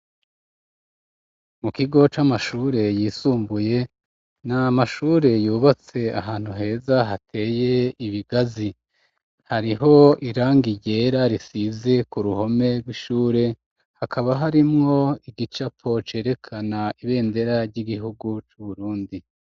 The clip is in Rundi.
Mu kigo c'amashure yisumbuye, n’amashure yubatse ahantu heza hateye ibigazi, hariho irangi ryera risize ku ruhome rw'ishure, hakaba harimwo igicapo cerekana ibendera ry'igihugu c'uburundi.